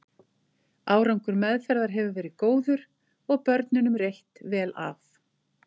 Árangur meðferðar hefur verið góður og börnunum reitt vel af.